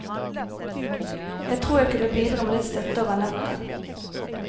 Jeg tror jeg kunne bidra med litt støtte over nettet.